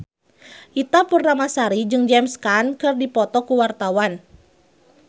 Ita Purnamasari jeung James Caan keur dipoto ku wartawan